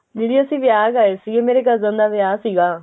ਦੀਦੀ ਅਸੀਂ ਵਿਆਹ ਗਏ ਸੀ ਮੇਰੇ cousin ਦਾ ਵਿਆਹ ਸੀਗਾ